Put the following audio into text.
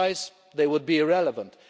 Otherwise, they will be irrelevant.